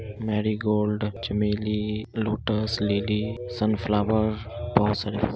marigold चमेली lotus lily sunflower बोहोत सारे फूल --